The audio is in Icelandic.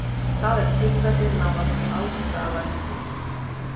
Það er tilfellið nánast alls staðar í heiminum.